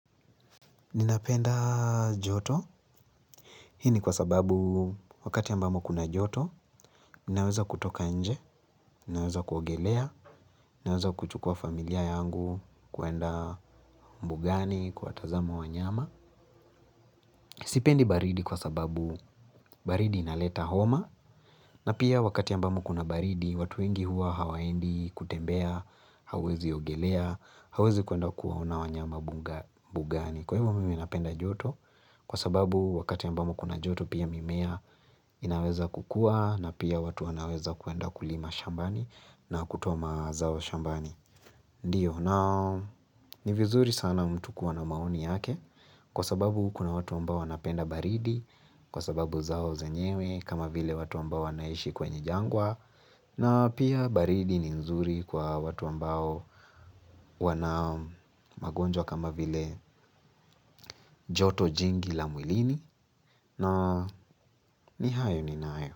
Ninapenda joto, hii ni kwa sababu wakati ambamo kuna joto, ninaweza kutoka nje, ninaweza kuogelea, ninaweza kuchukua familia yangu kuenda mbugani, kuwatazama wanyama. Sipendi baridi kwa sababu baridi inaleta homa, na pia wakati ambamo kuna baridi, watu wengi huwa hawaendi kutembea, hauwezi ogelea, hauwezi kuenda kuwaona wanyama mbugani. Kwa hivyo mimi napenda joto kwa sababu wakati ambamo kuna joto pia mimea inaweza kukuwa na pia watu wanaweza kuenda kulima shambani na kutoa mazao shambani. Ndiyo nao ni vizuri sana mtu kuwa na maoni yake kwa sababu kuna watu ambao wanapenda baridi kwa sababu zao zenyewe kama vile watu ambao wanaishi kwenye jangwa. Na pia baridi ni nzuri kwa watu ambao wana magonjwa kama vile joto jingi la mwilini na ni hayo ninayo.